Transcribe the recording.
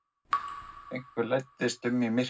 Einhver læddist um í myrkrinu.